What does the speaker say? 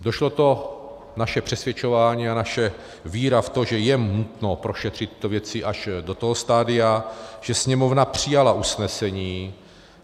Došlo to naše přesvědčování a naše víra v to, že je nutno prošetřit tyto věci, až do toho stadia, že Sněmovna přijala usnesení.